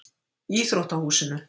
Íþróttahúsinu